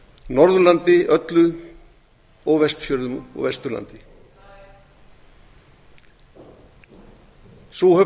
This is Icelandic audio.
norðurlandi öllu og vestfjörðum og vesturlandi sú höfn